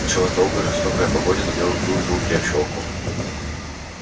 началась долгая жестокая погоня но белый клык был крепче волков